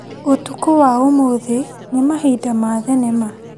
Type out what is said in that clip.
ũtukũ wa ũmũthĩ nĩ mahinda ma thinema.